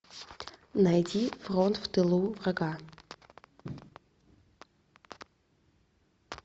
найди фронт в тылу врага